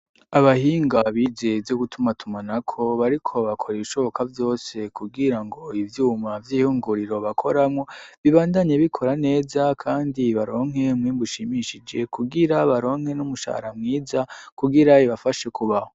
Abahinga bize ivyo gutuma tuma nako bariko bakora ibishoboka byose kubwira ngo ivyuma vy'ihunguriro bakoramo bibandanye bikora neza kandi baronke muribushimishije kubwira baronke n'umushahara mwiza kugira ibafashe kubaho.